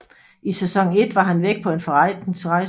I sæson 1 var han væk på en forretningsrejse